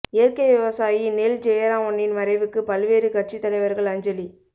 இயற்கை விவசாயி நெல் ஜெயராமனின் மறைவுக்கு பல்வேறு கட்சித் தலைவர்கள் அஞ்சலி